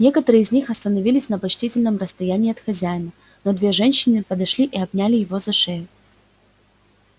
некоторые из них остановились на почтительном расстоянии от хозяина но две женщины подошли и обняли его за шею